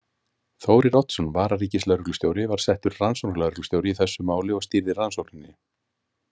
Þórir Oddsson, vararíkislögreglustjóri, var settur rannsóknarlögreglustjóri í þessu máli og stýrði rannsókninni.